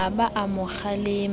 a ba a mo kgalemela